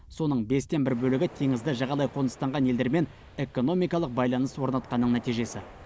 соның бестен бір бөлігі теңізді жағалай қоныстанған елдермен экономикалық байланыс орнатқанның нәтижесі